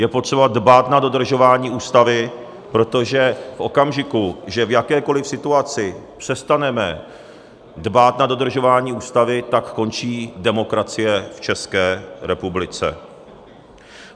Je potřeba dbát na dodržování Ústavy, protože v okamžiku, že v jakékoliv situaci přestaneme dbát na dodržování Ústavy, tak končí demokracie v České republice.